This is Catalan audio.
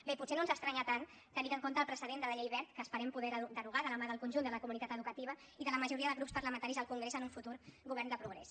bé potser no ens estranya tant tenint en compte el precedent de la llei wert que esperem poder derogar de la mà del conjunt de la comunitat educativa i de la majoria de grups parlamentaris al congrés en un futur govern de progrés